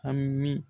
Hami mi